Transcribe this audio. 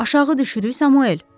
Aşağı düşürük, Samuel?